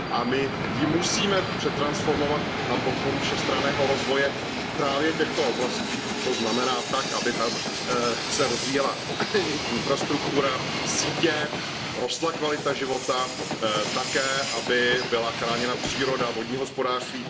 A my ji musíme přetransformovat na podporu všestranného rozvoje právě těchto oblastí, to znamená tak, aby tam se rozvíjela infrastruktura, sítě, rostla kvalita života, také aby byla chráněna příroda, vodní hospodářství.